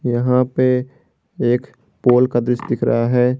यहां पे एक पोल का दृश्य दिख रहा है।